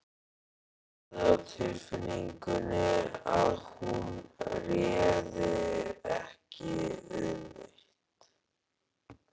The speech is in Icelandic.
Hafði á tilfinningunni að hún réði ekki við neitt.